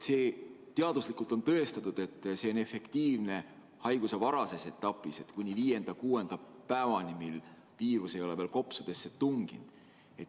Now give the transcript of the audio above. Teaduslikult on tõestatud, et see on efektiivne haiguse varases etapis, kuni viienda-kuuenda päevani, kui viirus ei ole veel kopsudesse tunginud.